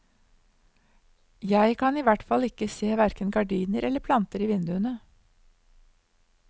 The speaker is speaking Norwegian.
Jeg kan i hvert fall ikke se hverken gardiner eller planter i vinduene.